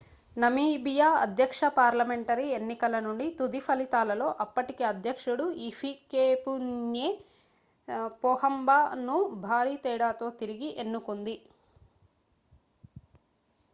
Namibia అధ్యక్ష parliamentary ఎన్నికల నుండి తుది ఫలితాలలో అప్పటి అధ్యక్షుడు హిఫికెపున్యే పోహంబా ను భారీ తేడాతో తిరిగి ఎన్నుకుంది